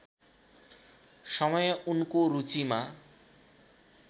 समय उनको रुचिमा